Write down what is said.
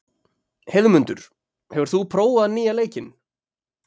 Heiðmundur, hefur þú prófað nýja leikinn?